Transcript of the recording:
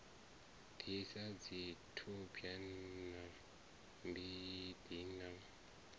disa dzithudwa na mbidi na